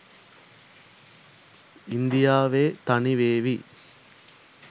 ඉන්දියාවෙ තනිවෙවි.